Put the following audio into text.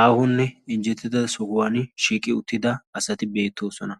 Aahonne injjetida sohuwan shiiqi uttida asati beettoosona.